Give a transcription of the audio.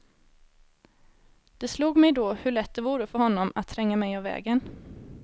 Det slog mig då hur lätt det vore för honom att tränga mig av vägen.